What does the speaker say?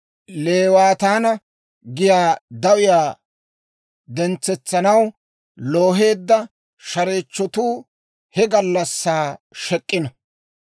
Leewaataana giyaa dawiyaa dentsetsanaw looheedda shareechchotuu he gallassaa shek'k'ino.